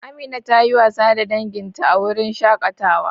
Amina ta yi wasa da danginta a wurin shakatawa.